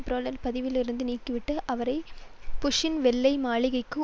பிரெளனை பதவியிருந்து நீக்கிவிட்டு அவரை புஷ்சின் வெள்ளை மாளிகைக்கு